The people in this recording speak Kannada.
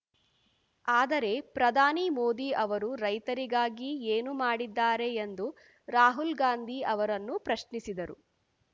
ಆದರೆ ಪ್ರಧಾನಿ ಮೋದಿ ಅವರು ರೈತರಿಗಾಗಿ ಏನು ಮಾಡಿದ್ದಾರೆ ಎಂದು ರಾಹುಲ್ ಗಾಂಧಿ ಅವರನ್ನು ಪ್ರಶ್ನಿಸಿದರು